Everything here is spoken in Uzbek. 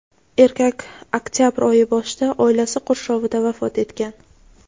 erkak oktyabr oyi boshida oilasi qurshovida vafot etgan.